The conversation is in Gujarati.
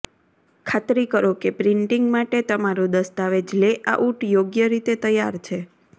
ખાતરી કરો કે પ્રિન્ટિંગ માટે તમારું દસ્તાવેજ લેઆઉટ યોગ્ય રીતે તૈયાર છે